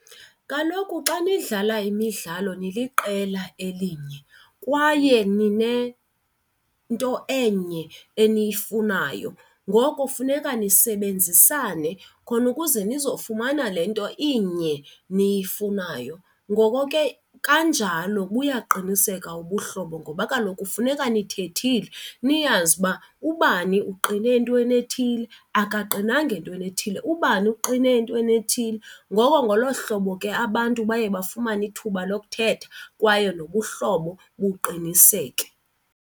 Kaloku xa nidlala imidlalo niliqela elinye kwaye ninento enye eniyifunayo, ngoko funeka nisebenzisane khona ukuze nizofumana le nto inye niyifunayo. Ngoko ke nakanjalo buyaqiniseka ubuhlobo ngoba kaloku kufuneka nithethile niyazi uba ubani uqine entweni ethile akaqinanga entweni ethile, ubani uqine entweni ethile. Ngoko ngolo hlobo ke abantu baye bafumane ithuba lokuthetha kwaye nobuhlobo buqiniseke.